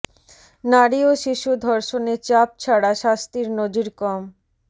নারী ও শিশু ধর্ষণে চাপ ছাড়া শাস্তির নজির কম